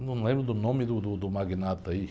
Eu não lembro do nome do, do magnata aí.